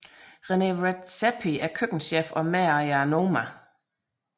Rene Redzepi er køkkenchef og medejer af Noma